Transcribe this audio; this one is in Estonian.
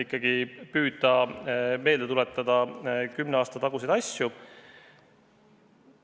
Ikkagi püüate meelde tuletada kümne aasta taguseid asju!